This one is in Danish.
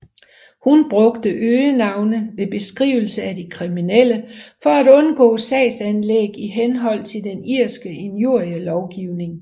Hun brugte øgenavne ved beskrivelse af de kriminelle for at undgå sagsanlæg i henhold til den irske injurielovgivning